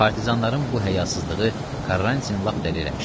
Partizanların bu həyasızlığı Karantinin lap dəli eləmişdi.